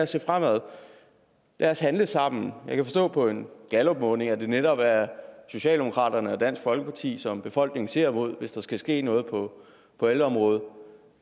se fremad lad os handle sammen jeg kan forstå på en gallupmåling at det netop er socialdemokratiet og dansk folkeparti som befolkningen ser mod hvis der skal ske noget på ældreområdet